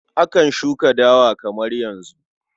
Akan shuka dawa kamar yanzu.